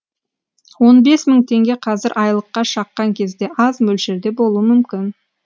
он бес мың теңге қазір айлыққа шаққан кезде аз мөлшерде болуы мүмкін